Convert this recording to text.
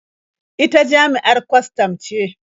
Ita jami'ar kwastam ce.